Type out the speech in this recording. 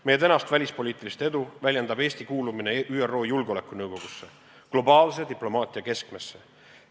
Meie välispoliitilist edu väljendab Eesti kuulumine ÜRO Julgeolekunõukogusse – globaalse diplomaatia keskmesse.